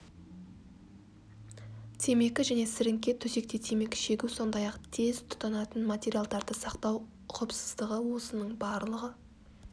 темекі және сіріңке төсекте темекі шегу сондай ақ тез тұтанатын материалдарды сақтау ұқыпсыздығы осының барлығы